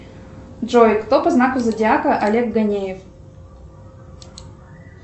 джой кто по знаку зодиака олег ганеев